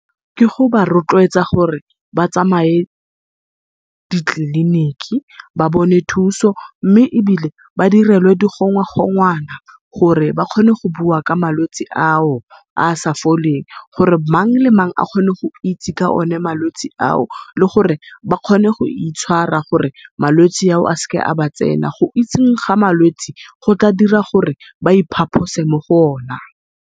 Ke go ba rotloetsa gore ba batsamae ditleliniki ba bone thuso mme ebile ba direlwe digongwagongwana, gore ba kgone go bua ka malwetse ao a sa foleng. Gore mang le mang a kgone go itse ka malwetse ao le gore ba kgone goitshwara, gore malwetse ao a sa ba tsena. Go itseng ga malwetse go tla dira gore ba iphaphose mo go o na.